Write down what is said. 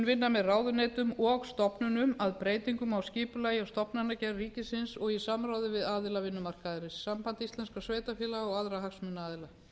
vinna með ráðuneytum og stofnunum að breytingum á skipulagi og stofnanagerð ríkisins og í samráði við aðila vinnumarkaðarins samband íslenskra sveitarfélaga og aðra hagsmunaaðila